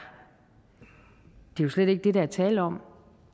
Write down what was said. jo slet ikke det der er tale om